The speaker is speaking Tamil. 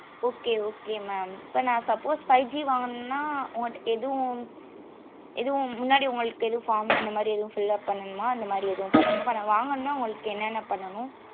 okay okay mam இப்போ நா suppose five G வாங்கனும்ன உங்கட எதுவும் எதுவும் முன்னாடி உங்களுக்கு ஏதும் form இந்த மாதிரி எதிரி ஏதும் fill up பண்ணனும அந்த மாதிரி எதுவும் பன்னுனுமா இப்போ வாங்கனும்ன உங்களுக்கு என்னன்னா பண்ணனும்